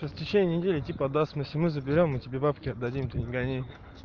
по истечении недели типа отдаст если мы заберём мы тебе бабки отдадим ты не гони